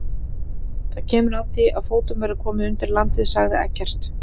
Það kemur að því að fótum verður komið undir landið, sagði Eggert.